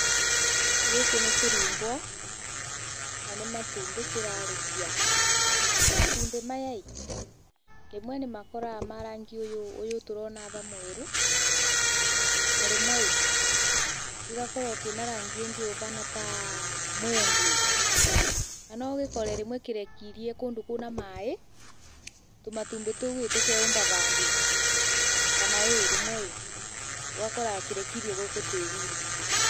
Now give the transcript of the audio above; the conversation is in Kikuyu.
Gĩkĩ nĩ kĩrumbwa na nĩ matumbĩ kĩrarekia. Matumbĩ maya rĩmwe nĩ makoragwo marĩ ma rangi ũyũ tũrona haha mwerũ na rĩmwe gĩgakorwo kĩna rangi ũngĩ ũbana ta mũngĩ. Na no ũkore rĩmwe kĩrekeirie kũndũ kwĩna maaĩ, tũmatumbĩ tũu tũkenyũmba bandũ kana rĩmwe ũgakora kĩrekeirie gũkũ tĩrinĩ.